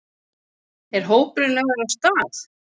Er hópurinn lagður af stað?